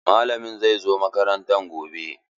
Malamin zai zo makaranta gobe.